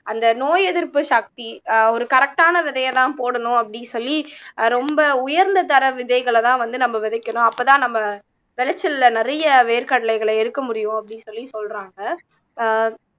அந்த நோய் எதிர்ப்பு சக்தி அஹ் ஒரு correct ஆன விதையை தான் போடணும் அப்படீன்னு சொல்லி அஹ் ரொம்ப உயர்ந்த தர விதைகளை தான் வந்து நம்ம விதைக்கணும் அப்பதான் நம்ம விளைச்சல்ல நிறைய வேர்க்கடலைகளை எடுக்க முடியும் அப்படின்னு சொல்லி சொல்றாங்க ஆஹ்